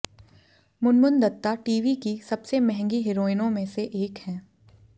Munmun Dutta TV की सबसे महँगी हीरोइनों में से एक है